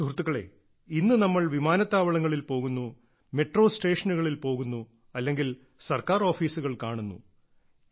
സുഹൃത്തുക്കളേ ഇന്ന് നമ്മൾ വിമാനത്താവളങ്ങളിൽ പോകുന്നു മെട്രോ സ്റ്റേഷനുകളിൽ പോകുന്നു അല്ലെങ്കിൽ സർക്കാർ ഓഫീസുകൾ കാണുന്നു